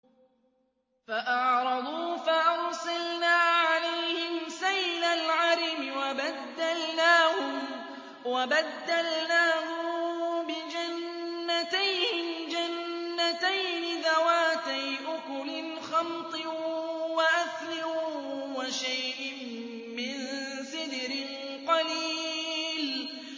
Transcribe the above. فَأَعْرَضُوا فَأَرْسَلْنَا عَلَيْهِمْ سَيْلَ الْعَرِمِ وَبَدَّلْنَاهُم بِجَنَّتَيْهِمْ جَنَّتَيْنِ ذَوَاتَيْ أُكُلٍ خَمْطٍ وَأَثْلٍ وَشَيْءٍ مِّن سِدْرٍ قَلِيلٍ